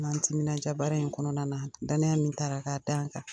Ŋ'an timinadiya baara in kɔnɔna na. Danaya min tara k'a d'an kan.